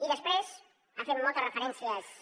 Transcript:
i després ha fet moltes referències